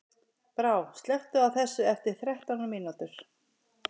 Brá, slökktu á þessu eftir þrettán mínútur.